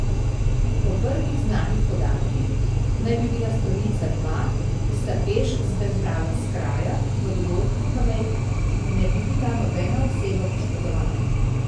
Po prvih znanih podatkih, naj bi bila storilca dva, ki sta peš zbežala s kraja, v dogodku pa naj ne bi bila nobena oseba poškodvana.